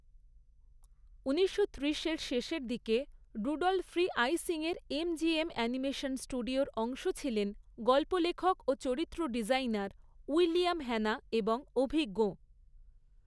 ঊনিশশো ত্রিশ এর শেষের দিকে রুডলফৃ আইসিঙের এমজিএম অ্যানিমেশন স্টুডিওর অংশ ছিলেন গল্পলেখক ও চরিত্র ডিজাইনার উইলিয়াম হ্যানা এবং অভিজ্ঞ